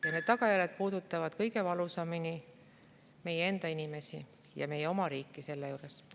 Ja need tagajärjed puudutavad kõige valusamini meie enda inimesi ja meie oma riiki selle juures.